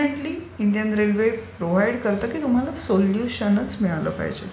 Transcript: आणि definitely Indian railway provide करते की तुम्हाला सोल्युशनच मिळाले पाहिजे.